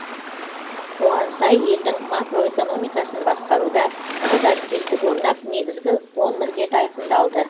оған сай елдің макроэкономикасын басқаруда тығыз әріптестік орнап негізгі он міндет айқындалды